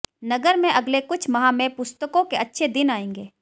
नगर में अगले कुछ माह में पुस्तकों के अच्छे दिन आएंगे